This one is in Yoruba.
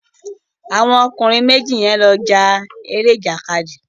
Àwọn ọkùnrin méjì yẹn ló ja eré ìjàkadì